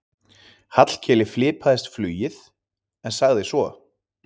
Hallkeli fipaðist flugið en sagði svo